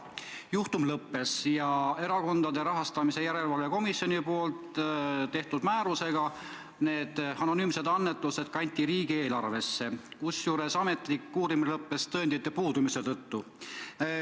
Juhtum lõppes ja erakondade rahastamise järelevalve komisjoni tehtud määrusega need anonüümsed annetused kanti riigieelarvesse, kusjuures ametlik uurimine lõppes tõendite puudumise tõttu.